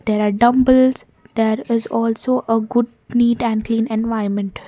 there are dumbbells there is also a good neat and clean environment.